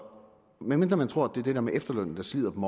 medmindre man tror at det dér med efterlønnen der slider dem